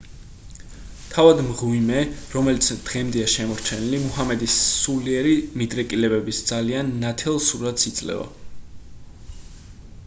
თავად მღვიმე რომელიც დღემდეა შემორჩენილი მუჰამედის სულიერი მიდრეკილებების ძალიან ნათელ სურათს იძლევა